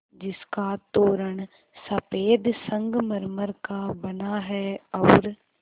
जिसका तोरण सफ़ेद संगमरमर का बना है और